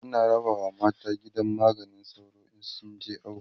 ana rabawa mata gidan maganin sauro in sun je awo